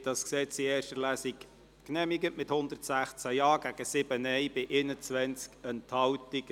Sie haben das Gesetz in erster Lesung genehmigt, mit 116 Ja- und 7 Nein-Stimmen bei 21 Enthaltungen.